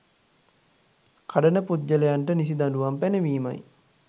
කඩන පුද්ගලයන්ට නිසි දඬුවම් පැනවීමයි